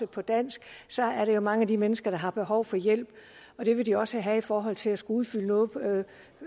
på dansk så er der jo mange af de mennesker der har behov for hjælp og det vil de også have i forhold til at skulle udfylde noget